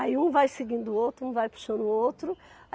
Aí um vai seguindo o outro, um vai puxando o outro.